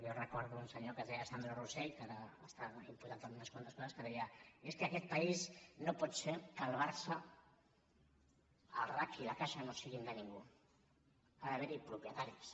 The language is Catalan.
jo recordo un senyor que es deia sandro rosell que ara està imputat en unes quantes coses que deia és que en aquest país no pot ser que el barça el racc i la caixa no siguin de ningú ha d’haver hi propietaris